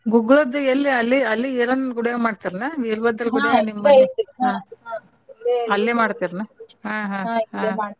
ಗುಗ್ಗಳದ್ದು ಎಲ್ಲೆ ಅಲೆ ಅಲ್ಲೇ ಈರಣ್ಣನ ಗುಡ್ಯಾಗ ಮಾಡ್ತಿರೇನ್ ಅಲ್ಲೇ ಮಾಡ್ತಿರೇನ್ ಹಾ ಹಾ ಹಾ.